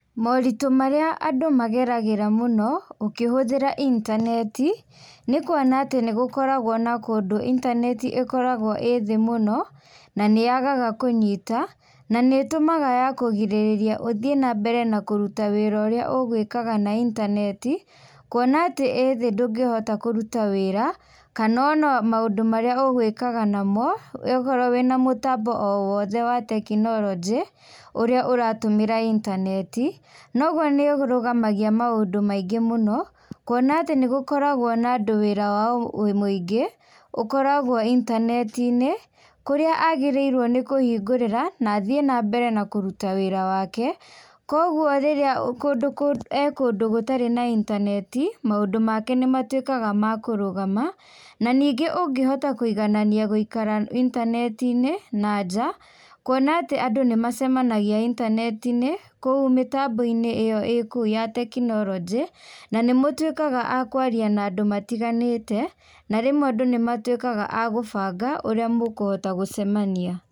Maũritũ marĩa andũ mageragĩra mũno ũkĩhũthĩra intaneti, nĩ kuona atĩ nĩ gũkoragwo na kũndũ intaneti ĩkoragwo ĩthĩ mũno, na nĩ yagaga kũnyita. Na nĩ ĩtũmaga ya kũgirĩrĩria ũthiĩ na mbere na kũruta wĩra ũrĩa ũgwĩkaga na intaneti, kuona atĩ ĩthĩ ndũngĩhota kũruta wĩra kana ona maũndũ marĩa ũgwĩkaga namo okorwo wĩna mũtambo o wothe wa tekinoronjĩ ũrĩa ũratũmĩra intaneti, noguo nĩ ũrũgamagia maũndũ maingĩ mũno. Kũona atĩ nĩ gũkoragwo na andũ wĩra wao mũingĩ ũkoragwo intaneti-inĩ, kũrĩa agĩrĩirwo nĩ kũhingũrĩra na athiĩ nambere na kũruta wĩra wake. Koguo rĩrĩa e kũndũ gũtarĩ na intaneti, maũndũ make nĩmatuĩkaga ma kũrũgama. Na ningĩ ũngĩhota kũiganania gũikara intaneti-inĩ na nja, kũona atĩ andũ nĩ macenagia intaneti-inĩ, kũu mĩtambo-inĩ ĩyo ĩ kũu ya tekinoronjĩ, na nĩ mũtuĩkaga a kwaria na andũ matiganĩte, na rĩmwe andũ nĩ matuĩkaga a gũbanga ũrĩa mũkũhota gũcemania.